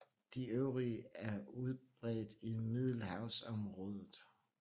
De øvrige er udbredt i Middelhavsområdet